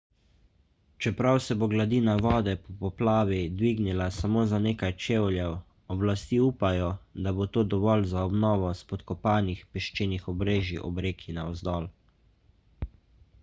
čeprav se bo gladina vode po poplavi dvignila samo za nekaj čevljev oblasti upajo da bo to dovolj za obnovo spodkopanih peščenih obrežij ob reki navzdol